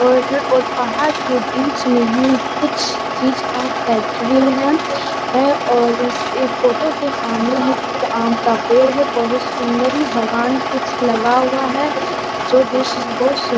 और-और पहाड़ के बीच में ही कुछ चीज का फैक्ट्री है है और अस एक फोटो के सामने एक आम का पेड़ है बहोत सुंदर ही बगान कुछ लगा हुआ है जो दिस इज बहुत सुन --